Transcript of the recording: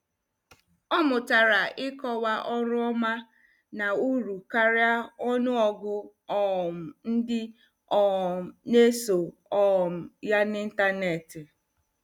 Ọ mụtara ịkọwa ọrụ ọma na uru karịa ọnụ ọgụ um ndị um na- eso um ya n' intaneti.